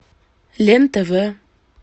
лен тв